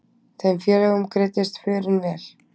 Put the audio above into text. Þeim félögum greiddist förin vel.